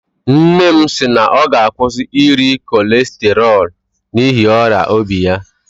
Nne m sịrị na ọ ga-akwụsị iri kọlesterọl n'ihi ọrịa obi ya